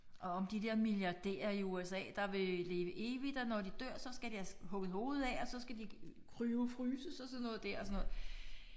Og om de der milliardærer i USA der vil leve evigt og når de dør så skal deres hugget hovedet af og så skal de cryo-fryses og sådan noget der og sådan noget